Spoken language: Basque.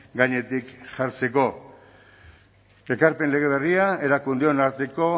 gainetik jartzeko ekarpen lege berria erakundeon arteko